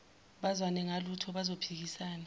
bazwane ngalutho bazophikisana